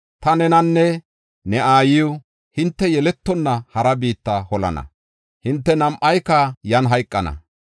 Ta nenanne ne aayiw hinte yeletonna hara biitta holana; hinte nam7ayka yan hayqana.